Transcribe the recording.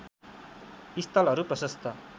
स्थलहरू प्रशस्त